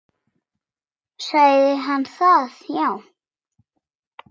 Sagði hann það já.